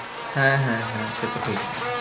হ্যাঁ হ্যাঁ হ্যাঁ সে তো ঠিকই।